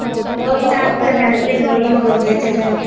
ਲੋਹੜੀ ਤਕ ਫਿਰ ਰਹਿਣਗੇ ਲੋਹਰੀਓ ਮਗਰੋਂ ਫਿਰ ਚਲ ਜਾਣ ਗੇ।